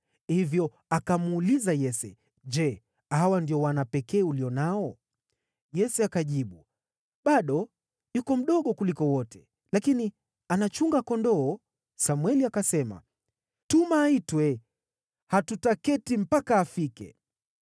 Hivyo akamuuliza Yese, “Je, hawa ndio wana pekee ulio nao?” Yese akajibu, “Bado yuko mdogo kuliko wote, lakini anachunga kondoo.” Samweli akasema, “Tuma aitwe; hatutaketi mpaka afike.”